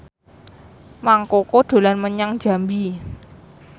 Mang Koko dolan menyang Jambi